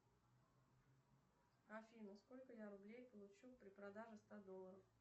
афина сколько я рублей получу при продаже ста долларов